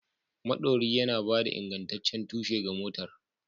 Maɗori yana ba da ingantaccen tushe ga motar.